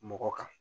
Mɔgɔ kan